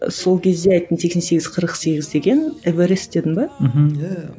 сол кезде айттың сексен сегіз қырық сегіз деген эверест дедің бе мхм иә